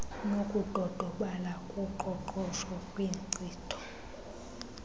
nokudodobala koqoqosho kwinkcitho